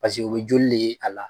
Paseke o bɛ joli de ye a la.